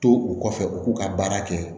To u kɔfɛ u k'u ka baara kɛ